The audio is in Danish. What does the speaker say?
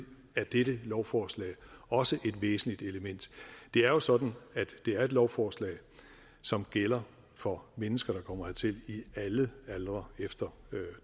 er dette lovforslag også et væsentligt element det er jo sådan at det er et lovforslag som gælder for mennesker der kommer hertil i alle aldre efter